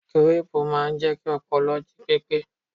Gíréẹ̀pù máa ń jẹ́ kí ọpọlọ jí pépé